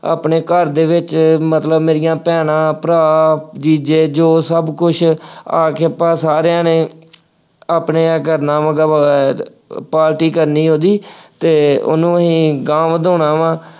ਆਪਣੇ ਘਰ ਦੇ ਵਿੱਚ ਮਤਲਬ ਮੇਰੀਆਂ ਭੈਣਾਂ, ਭਰਾ, ਜੀਜੇ ਜੋ ਸਭ ਕੁੱਝ ਆ ਕੇ ਆਪਾਂ ਸਾਰਿਆਂ ਨੇ ਆਪਣੇ ਆ ਕਰਨਾ ਵਾ party ਕਰਨੀ ਉਹਦੀ ਅਤੇ ਉਹਨੂੰ ਅਸੀਂ ਅਗਾਂਹ ਵਧਾਉਣਾ ਵਾ,